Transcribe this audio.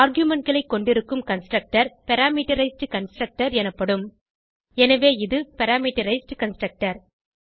argumentகளை கொண்டிருக்கும் constructor parameterised constructor எனப்படும் எனவே இது பிரமீட்டரைஸ்ட் கன்ஸ்ட்ரக்டர்